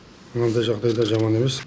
мынандай жағдайда жаман емес